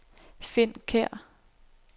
Finn Kjær